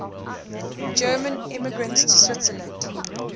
german immigrants to switzerland